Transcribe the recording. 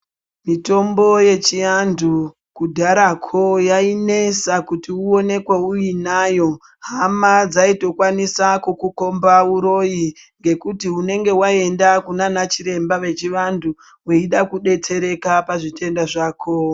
Mitombo yechiantu kudharako yainesa kuti uonekwe uinayo, hama dzaitokwanisa kukukomba uroyi ngekuti unenge waenda kunana chiremba vechivantu weida kudetsereka pazvitenda zvako.